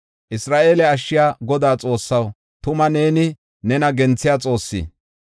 “Isra7eele Ashshiya Godaa Xoossaw, tuma neeni nena genthiya Xoosse.